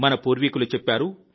మన పూర్వీకులు చెప్పారు